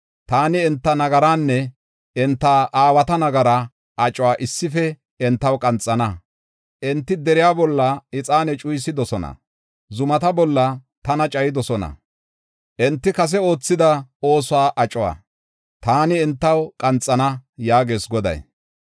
Taani enta nagaraanne enta aawata nagaraa acuwa issife entaw qanxana. Enti deriya bolla ixaane cuyisidosona; zumata bolla tana cayidosona. Enti kase oothida oosuwa acuwa taani entaw qanxana” yaagees Goday.